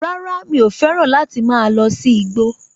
Rárá, mi ò fẹ́ràn láti máa lọ sí igbó